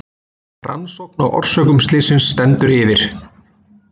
Rannsókn á orsökum slysins stendur yfir